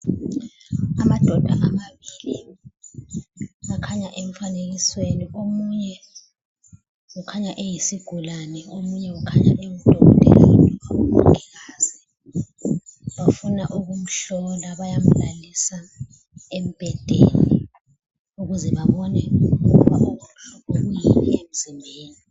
Amadoda amabili akhanya emfanekisweni omunye ukhanya eyisigulane omunye ukhanya engudokotela kumbe umongikazi, bafuna ukumhlola bayamlalisa embhedeni ukuze babone okubuhlungu kwiyini emzimbeni.